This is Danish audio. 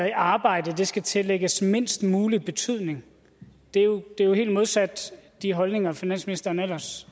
i arbejde skal tillægges mindst mulig betydning det er jo helt modsat de holdninger finansministeren ellers